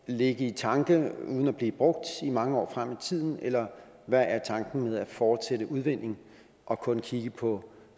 ligge i tanke uden at blive brugt i mange år frem i tiden eller hvad er tanken med at fortsætte udvindingen og kun kigge på